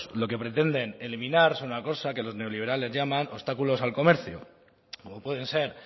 lo que pretenden eliminar es una cosa que los neoliberales llaman obstáculos al comercio como pueden ser